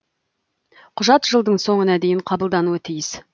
құжат жылдың соңына дейін қабылдануы тиіс